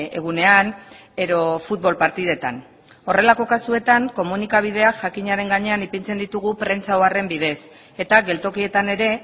egunean edo futbol partidetan horrelako kasuetan komunikabideak jakinaren gainean ipintzen ditugu prentsa oharren bidez eta geltokietan ere